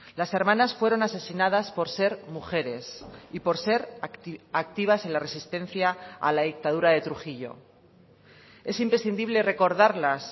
las hermanas fueron asesinadas por ser mujeres y por ser activas en la resistencia a la dictadura de trujillo es imprescindible recordarlas